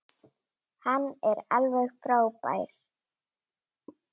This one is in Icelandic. Hann er alveg frábær!